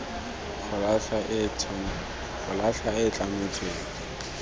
go latlha e e tlametsweng